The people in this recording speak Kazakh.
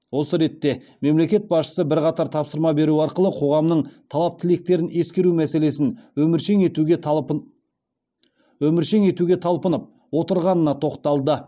осы ретте мемлекет басшысы бірқатар тапсырма беру арқылы қоғамның талап тілектерін ескеру мәселесін өміршең етуге талпынып отырғанына тоқталды